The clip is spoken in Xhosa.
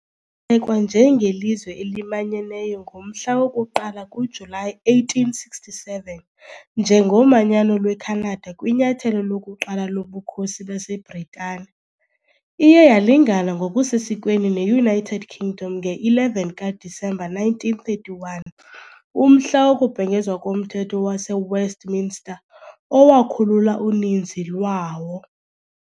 ekwa njengelizwe elimanyeneyo ngomhla woku-1 kuJulayi 1867 njengoManyano lweKhanada kwinyathelo lokuqala loBukhosi baseBritane, iye yalingana ngokusesikweni ne-United Kingdom nge-11 kaDisemba 1931, umhla wokubhengezwa koMthetho waseWestminster owakhulula uninzi lwawo.